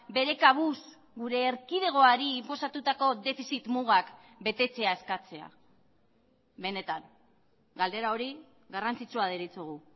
bere kabuz gure erkidegoari inposatutako defizit mugak betetzea eskatzea benetan galdera hori garrantzitsua deritzogu